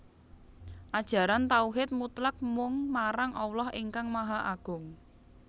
Ajaran tauhid mutlak mung marang Allah ingkang Maha Agung